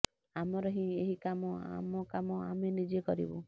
ଆମର ହିଁ ଏହି କାମ ଆମ କାମ ଆମେ ନିଜେ କରିବୁ